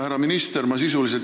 Härra minister!